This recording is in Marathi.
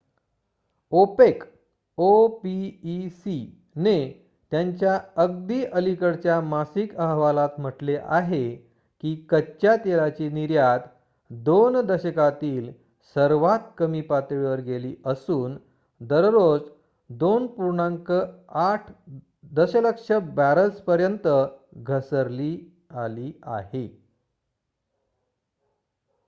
opec ने त्यांच्या अगदी अलीकडच्या मासिक अहवालात म्हटले आहे की कच्च्या तेलाची निर्यात 2 दशकांतील सर्वात कमी पातळीवर गेली असून दररोज 2.8 दशलक्ष बॅरल्सपर्यंत घसरली आली आहे